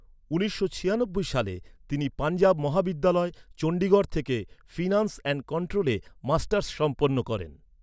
উনিশশো ছিয়ানব্বই সালে, তিনি পাঞ্জাব মহাবিদ্যালয়, চণ্ডীগড় থেকে ফিনান্স অ্যান্ড কন্ট্রোলে মাস্টার্স সম্পন্ন করেন।